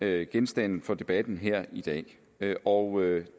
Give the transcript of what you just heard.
er genstand for debatten her i dag og